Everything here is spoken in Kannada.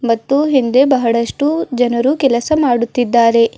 ಮತ್ತು ಹಿಂದೆ ಬಹಳಷ್ಟು ಜನರು ಕೆಲಸ ಮಾಡುತ್ತಿದ್ದಾರೆ.